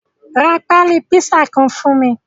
Ra pali pisa kan fun mi